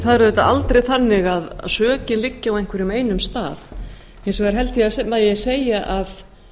er auðvitað aldrei þannig að sökin liggi á einhverjum einum stað hins vegar held ég að segja megi